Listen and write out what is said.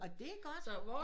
Nå det er godt